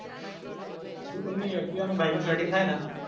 હું કોક નું activa કે bike નું setting થાય ને.